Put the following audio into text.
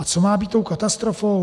A co má být tou katastrofou?